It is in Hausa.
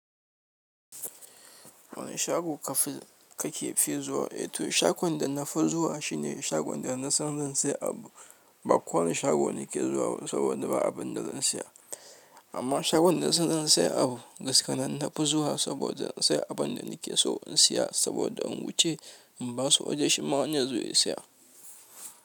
Wane shago kake fi so zuwa? To shagon da na fi zuwa shine shagon da na san zan saye abu. Ba kowane shago nake zuwa ba saboda ba abin da zan saya. Amma shagon da na san zan sayi abu gaskiya nan na fi zuwa saboda in sayi abin da nake so in saya saboda in wuce in ba su waje shi ma wani ya zo ya saya.